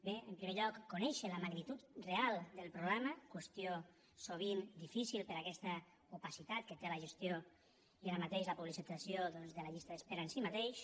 bé en primer lloc conèixer la magnitud real del problema qüestió sovint difícil per aquesta opacitat que té la gestió i ara mateix la publicitació doncs de la llista d’espera en si mateixa